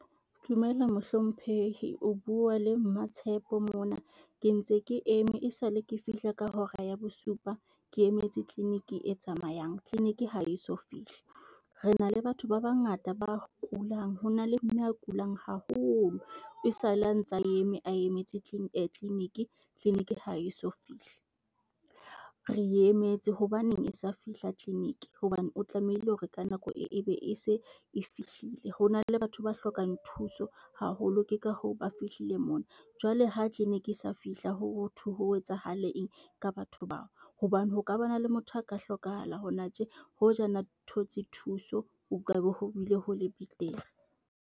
Dumela mohlomphehi o bua le Matshepo mona. Ke ntse ke eme e sale ke fihla ka hora ya bosupa. Ke emetse clinic e tsamayang clinic ha eso fihli. Re na le batho ba bangata ba kulang hona le mme a kulang haholo e sale a ntse a eme a emetse clinic, clinic ha eso fihli. Re e emetse hobaneng sa fihla clinic? Hobane o tlamehile hore ka nako e be e se e fihlile. Ho na le batho ba hlokang thuso haholo, ke ka hoo ba fihlile mona. Jwale ha clinic e sa fihla hothwe ho etsahale eng ka batho bao? Hobane ho ka ba na le motho a ka hlokahala hona tje hoja ana thotse thuso, ho ka be ho bile ho le betere.